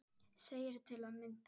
segir til að mynda